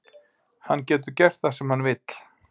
Hann getur gert það sem hann vill.